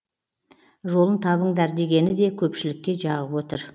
жолын табыңдар дегені де көпшілікке жағып отыр